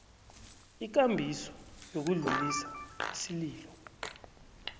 ikambiso yokudlulisa isililo